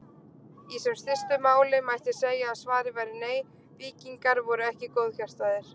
Í sem stystu máli mætti segja að svarið væri nei, víkingar voru ekki góðhjartaðir.